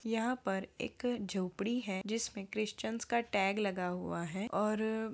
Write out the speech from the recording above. यहाँ पर एक झोपड़ी है जिस पर क्रिसचन्स का टेग लगा हुआ है। और --